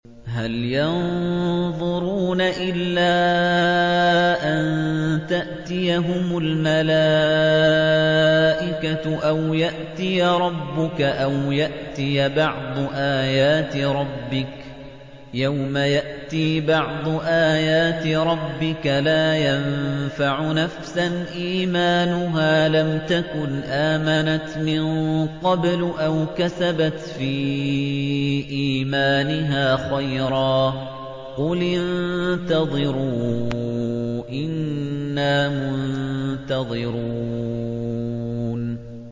هَلْ يَنظُرُونَ إِلَّا أَن تَأْتِيَهُمُ الْمَلَائِكَةُ أَوْ يَأْتِيَ رَبُّكَ أَوْ يَأْتِيَ بَعْضُ آيَاتِ رَبِّكَ ۗ يَوْمَ يَأْتِي بَعْضُ آيَاتِ رَبِّكَ لَا يَنفَعُ نَفْسًا إِيمَانُهَا لَمْ تَكُنْ آمَنَتْ مِن قَبْلُ أَوْ كَسَبَتْ فِي إِيمَانِهَا خَيْرًا ۗ قُلِ انتَظِرُوا إِنَّا مُنتَظِرُونَ